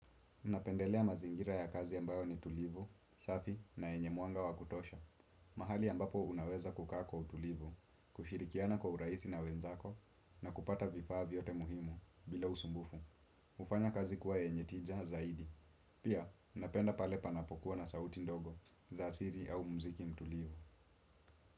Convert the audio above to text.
Napendelea mazingira ya kazi ambayo ni tulivu, safi na yenye muanga wa kutosha. Mahali ambapo unaweza kukaa kwa utulivu, kushirikiana kwa urahisi na wenzako na kupata vifaa vyote muhimu bila usumbufu. Kufanya kazi kuwa yenye tija zaidi. Pia, napenda pale panapokuwa na sauti ndogo za siri au muziki mtulivu.